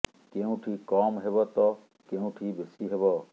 କେଉଁଠି କମ୍ ହେବ ତ କେଉଁ ଠି ବେଶୀ ହେବ